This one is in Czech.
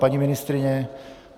Paní ministryně?